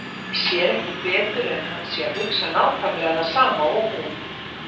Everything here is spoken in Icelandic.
Sér ekki betur en að hann sé að hugsa nákvæmlega það sama og hún.